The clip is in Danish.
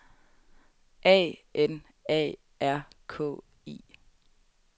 A N A R K I